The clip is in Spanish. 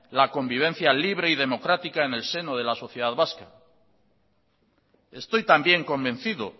la convivencia libre y democrática en el seno de la sociedad vasca estoy también convencido